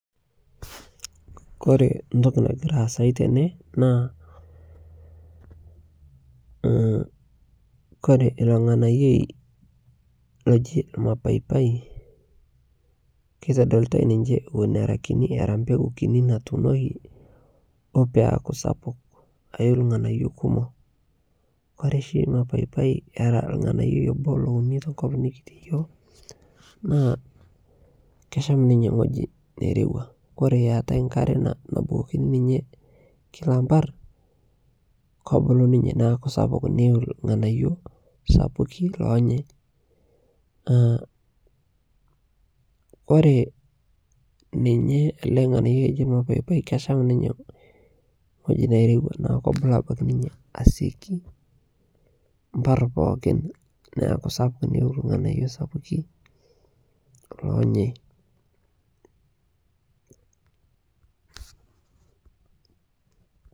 Kore ntoki nagiraa aasai tenee naa Koree iloo nghanayoi loji mapaipai keitodolitai ninshe ewon eraa kinii eraa mpekuu kinii natuunokii duo peaku sapuk ayiu lghanayo kumoo Kore shi mapaipai era lghanayoi Eboo louni tenkopang nikitii yooh naa kesham ninyee nghojii neirewaa Kore eatai nkaree nabukokinii ninyee Kila mpar kobuluu ninyee neaku sapuk neyiu lghanayoo sapukii lonyei a ore ninyee alee nghanayoi oji mapaipai kesham ninyee nghojii neirewaa kobuluu abakii ninyee asioki mpar pookin naaku sapuk neyiu lghanayoo sapukii lonyei